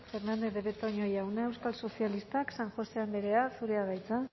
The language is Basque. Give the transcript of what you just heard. fernandez de betoño jauna euskal sozialistak san josé andrea zurea da hitza